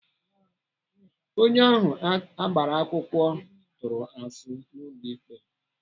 Onye ahụ agbara akwụkwọ tụrụ asị n'ulo ikpe.